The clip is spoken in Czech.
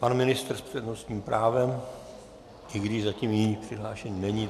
Pan ministr s přednostním právem, i když zatím jiný přihlášený není.